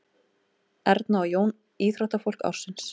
Erna og Jón íþróttafólk ársins